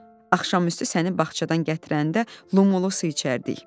Axşamüstü səni bağçadan gətirəndə Lumolo su içərdik.